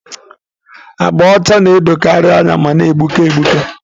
Agba ọcha na-edokarị anya ma na-egbuke egbuke.